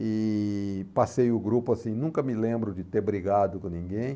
E passei o grupo assim, nunca me lembro de ter brigado com ninguém.